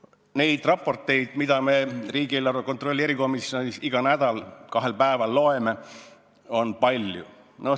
Neid raporteid, mida me riigieelarve kontrolli erikomisjonis igal nädalal kahel päeval loeme, on palju.